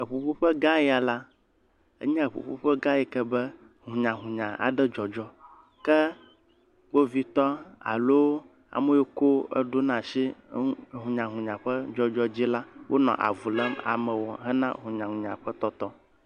Ƒuƒoƒe gã ya la, enye ƒuƒoƒe yi ke be hũnyahũnya aɖe dzɔdzɔm ke kpovitƒ alo ame yio ko eɖona si eŋu hũnyahũnya ƒe dzɔdzɔ dzi la, wonɔ avu lém amewo hena hũnyahũnya ƒe tɔtɔ.